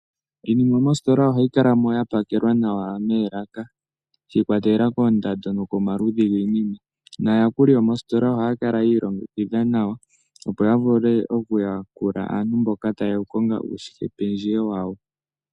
Iinima mositola ohayi kala mo ya pakelwa nawa meelaka shi ikwatelela koondando nokomaludhi giinima naayakuli yomoositola ohaya kala yi ilongekidha nawa opo ya vule okuyakula aantu mboka taye ya ku konga uushikependjewe wayo.